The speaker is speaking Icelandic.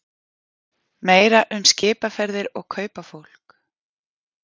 Meira um skipaferðir og kaupafólk